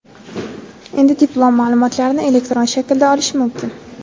Endi diplom ma’lumotlarini elektron shaklda olish mumkin.